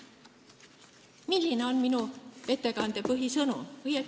Milline on minu ettekande põhisõnum?